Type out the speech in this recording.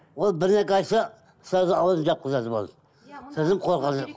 ол бірдеңке айтса сразу ауызын жапқызады болды содан қорқады